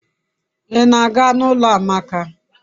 I na-aga n'ulo amaka